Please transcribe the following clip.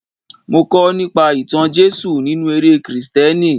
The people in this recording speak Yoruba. Mo kọ́ nípa ìtàn Jésù nínú eré Kristẹni.